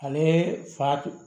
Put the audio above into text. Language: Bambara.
Ale fa